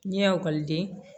N'i ye ekɔliden